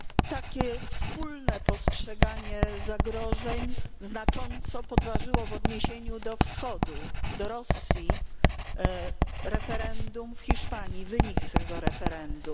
Takie wspólne postrzeganie zagrożeń znacząco podważyło w odniesieniu do Wschodu, do Rosji, referendum w Holandii, wynik tego referendum.